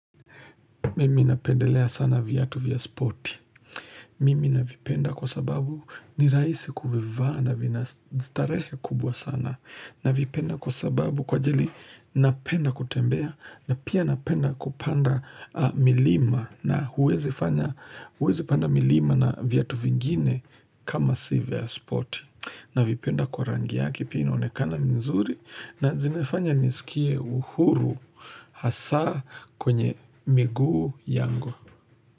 Mimi napendelea sana viatu vya spoti. Mimi navipenda kwa sababu ni raisi kuvivaa na vina starehe kubwa sana. Navipenda kwa sababu kwa ajali napenda kutembea na pia napenda kupanda milima na huwezi fanya, huwezi panda milima na viatu vingine kama si vya spoti. Na vipenda kwa rangi yake pia inaonekana mzuri na zimefanya nisikie uhuru hasa kwenye miguu yangu.